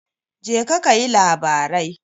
Jeka kayi labarai.